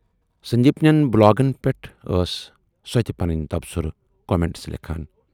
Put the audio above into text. سندیپ نٮ۪ن بلاگن پٮ۪ٹھٕ ٲس سۅ تہِ پنٕنۍ تبصرٕ کومینٹس لیکھان